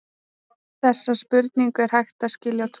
Þessa spurningu er hægt að skilja á tvo vegu.